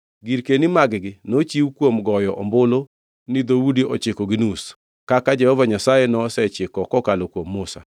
Girkeni mag-gi nochiw kuom goyo ombulu ni dhoudi ochiko gi nus, kaka Jehova Nyasaye nosechiko kokalo kuom Musa.